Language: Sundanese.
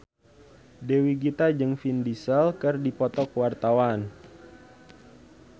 Dewi Gita jeung Vin Diesel keur dipoto ku wartawan